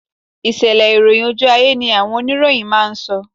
Ìṣẹ̀lẹ̀ ìròyìn ojú ayé ni àwọn oníròyìn máa ń sọ